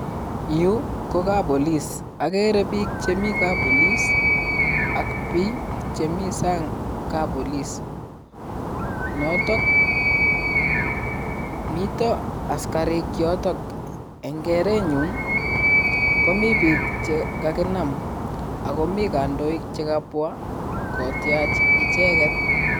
Yu ko kappolis agere biik che mii kappolis ak biik che mi sang kappolis noto mitoo askarik yoto. Eng' keretnyun komii biik che kakinaam ako mii kandoik chekapwa kotiach icheget.